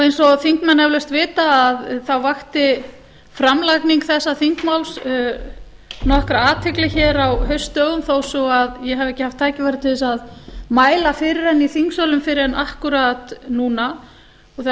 eins og þingmenn eflaust vita þá vakti framlagning þessa þingmáls nokkra athygli hér á haustdögum þó svo að ég hafi ekki haft tækifæri til þess að mæla fyrir henni í þingsölum fyrr en akkúrat núna það er